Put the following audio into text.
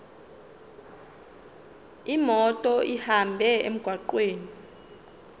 imoto ihambe emgwaqweni